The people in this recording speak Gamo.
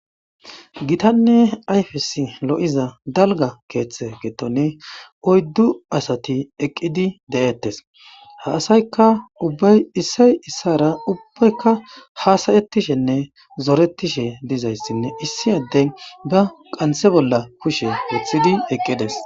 Gitanne ayfesi lo'iza dalga keeththe gettone oyddu asati eqqidi de'ettes haasayka ubbay issay issara ubbaykka haasayettishenne zoretishe dizayssinne issi addey ba qanthe bolla kushe weththidi eqqides.